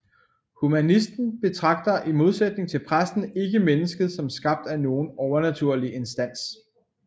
Humanisten betragter i modsætning til præsten ikke mennesket som skabt af nogen overnaturlig instans